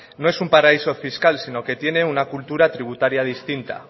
no es un paraíso fiscal sino que tiene una cultura tributaria distinta